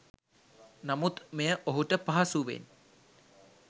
නමුත් මෙය ඔහුට පහසුවෙන්